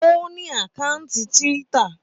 Ó ní àkátì Twitter.